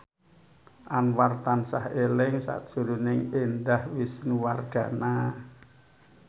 Anwar tansah eling sakjroning Indah Wisnuwardana